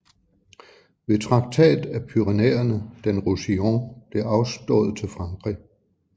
Ved Traktat af Pyrenæerne den Roussillon blev afstået til Frankrig